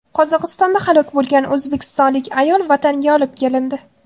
Qozog‘istonda halok bo‘lgan o‘zbekistonlik ayol vatanga olib kelindi.